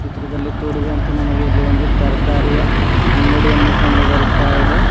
ಚಿತ್ರದಲ್ಲಿ ತೋರಿದಂತೆ ನಮಗೆ ಇಲ್ಲಿ ಒಂದು ತರಕಾರಿಯ ಅಂಗಡಿಯನ್ನು ಕಂಡು ಬರುತ್ತಾ ಇದೆ.